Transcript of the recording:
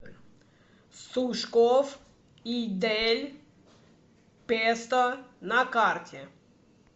сушкоф и дель песто на карте